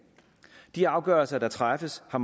de afgørelser der træffes har